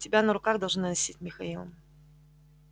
тебя на руках должны носить михаил